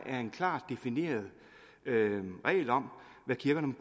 er en klart defineret regel om hvad kirkerne